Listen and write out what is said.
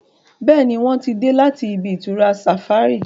Béèni wón tí dé láti ibi-itura safari.